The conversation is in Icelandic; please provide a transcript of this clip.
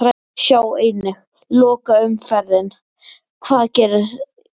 Sjá einnig: Lokaumferðin- Hvað getur gerst?